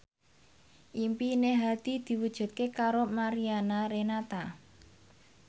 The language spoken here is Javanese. impine Hadi diwujudke karo Mariana Renata